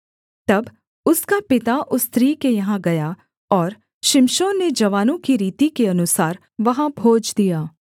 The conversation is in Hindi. तब उसका पिता उस स्त्री के यहाँ गया और शिमशोन ने जवानों की रीति के अनुसार वहाँ भोज दिया